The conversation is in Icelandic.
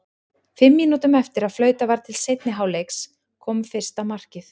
Fimm mínútum eftir að flautað var til seinni hálfleiks kom fyrsta markið.